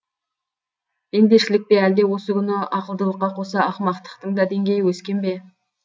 пендешілік пе әлде осы күні ақылдылыққа қоса ақымақтықтың да деңгейі өскен бе